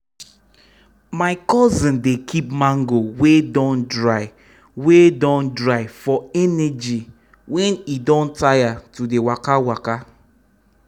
my cousin dey keep mango wey don dry wey don dry for energy when e don tire to dey waka waka.